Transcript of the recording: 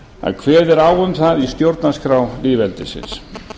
að kveðið er á um það í stjórnarskrá lýðveldisins